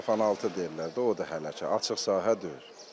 Salafanaltı deyirlər də, o da hələ ki, açıq sahə deyil.